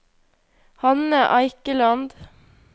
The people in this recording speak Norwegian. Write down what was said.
Hanne Eikeland